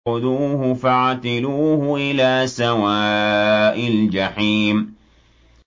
خُذُوهُ فَاعْتِلُوهُ إِلَىٰ سَوَاءِ الْجَحِيمِ